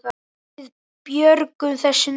Við björgum þessu nú.